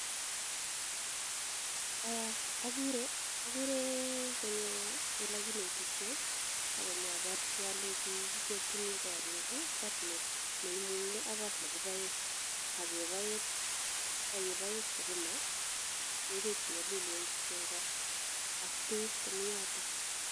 Okure konyo olekinetishen ak konyoborchi olenchi kichopchin korik koot neimung'e ak koot nekiboen ak keboen sukuma, ing'wek chenyolilen kitio en koo ak beek komiyoto.